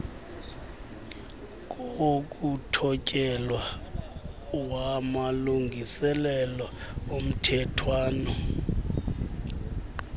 kokuthotyelwa kwamalungiselelo omthethwana